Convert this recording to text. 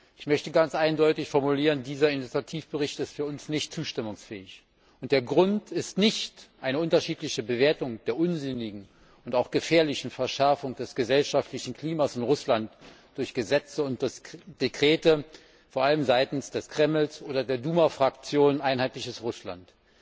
Ich möchte ganz eindeutig formulieren Dieser Initiativbericht ist für uns nicht zustimmungsfähig. Und der Grund ist nicht eine unterschiedliche Bewertung der unsinnigen und auch gefährlichen Verschärfung des gesellschaftlichen Klimas in Russland durch Gesetze und Dekrete, vor allem seitens des Kremls oder der Duma Fraktion Einheitliches Russland.